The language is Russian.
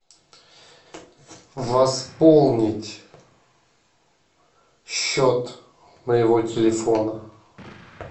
восполнить счет моего телефона